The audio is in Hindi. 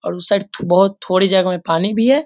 और उस साइड थू बहुत थोड़ी जगह में पानी भी है।